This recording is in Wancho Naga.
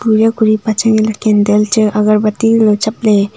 eya ku ripa chang nge le kandal chu chap le.